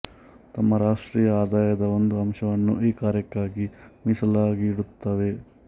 ತಮ್ಮ ರಾಷ್ಟ್ರೀಯ ಆದಾಯದ ಒಂದು ಅಂಶವನ್ನು ಈ ಕಾರ್ಯಕ್ಕಾಗಿ ಮೀಸಲಾಗಿಡುತ್ತವೆ